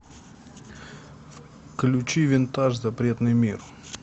включи винтаж запретный мир